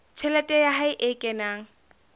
tjhelete ya hae e kenang